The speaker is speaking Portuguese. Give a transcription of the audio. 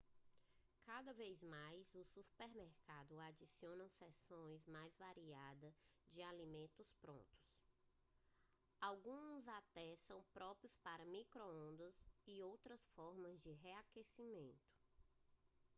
cada vez mais os supermercados adicionam seções mais variada de alimentos prontos alguns até são próprios para micro-ondas ou outras formas de reaquecimento